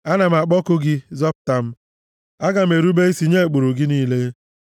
Ana m akpọku gị; zọpụta m aga m erube isi nye ụkpụrụ gị niile.